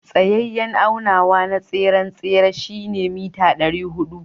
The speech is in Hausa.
Tsayayen aunawa na tseren tsere shine meter dari hudu.